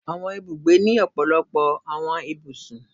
Awọn Ibúgbe ni ọpọlọpọ awọn ibúsùn